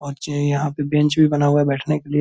और जे यहाँ पे बेंच भी बना हुआ है बैठने के लिए।